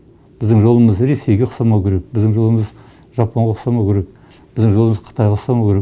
біздің жолымыз ресейге ұқсамауы керек біздің жолымыз жапонға ұқсамауы керек біздің жолымыз қытайға ұқсамауы керек